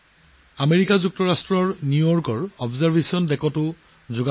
আমেৰিকাৰ নিউয়ৰ্কৰ পৰ্যবেক্ষণ ডেকত একাংশ লোকে যোগাসন কৰিছিল